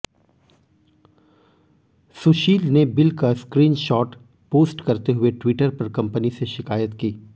सुशील ने बिल का screenshot post करते हुए ट्विटर पर कंपनी से शिकायत की